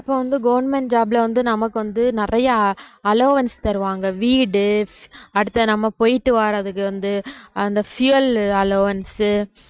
இப்ப வந்து government job ல வந்து நமக்கு வந்து நிறைய al~ allowance தருவாங்க வீடு அடுத்து நம்ம போயிட்டு வர்றதுக்கு வந்து அந்த fuel allowance உ